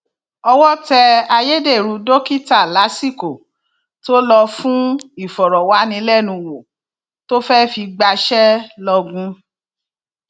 owó tẹ ayédèrú dókítà lásìkò tó lò fún ìfọrọwánilẹnuwò tó fẹẹ fi gbaṣẹ lọgùn